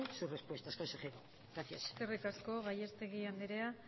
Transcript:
su respuesta consejero gracias eskerrik asko gallastegui andrea